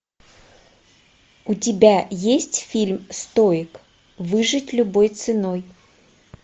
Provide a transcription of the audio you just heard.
у тебя есть фильм стоик выжить любой ценой